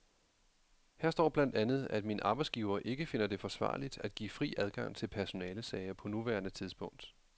Her står blandt andet, at min arbejdsgiver ikke finder det forsvarligt at give fri adgang til personalesager på nuværende tidspunkt.